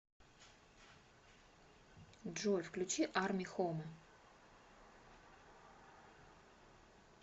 джой включи арми хоме